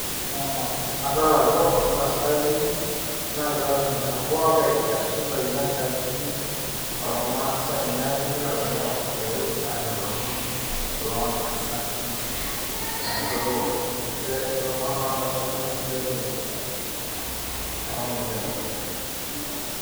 Adol ajo ntasati naagira aatoni teboo enkaji tesuntai enkaji ormaasai neeku egira aatoni aaosh ororei aanya ilomon loontasati neeku ilomon loontasati inositai tene, neeku ninche inasitai.